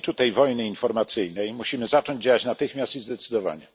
W obliczu tej wojny informacyjnej musimy zacząć działać natychmiast i zdecydowanie.